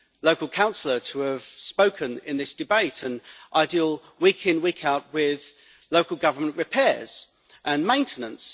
local councillor, to have spoken in this debate, and I deal week in, week out, with local government repairs and maintenance.